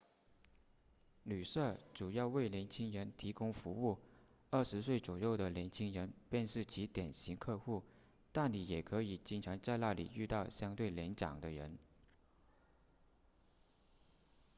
旅舍主要为年轻人提供服务二十岁左右的年轻人便是其典型客户但你也可以经常在那里遇到相对年长的人